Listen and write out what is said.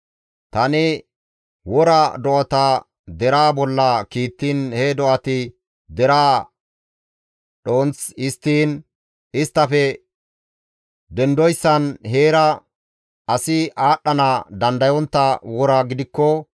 «Tani wora do7ata deraa bolla kiittiin he do7ati deraa dhonth histtiin, isttafe dendoyssan heera asi aadhdhana dandayontta wora gidikko,